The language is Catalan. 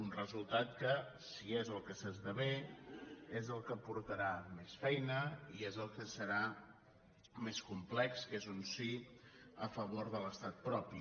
un resultat que si és el que s’esdevé és el que portarà més feina i és el que serà més complex que és un sí a favor de l’estat propi